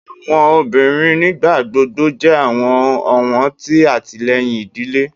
Awọn obinrin nigbagbogbo jẹ awọn ọwọn ti atilẹyin idile